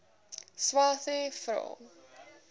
swathe vra